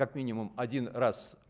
как минимум один раз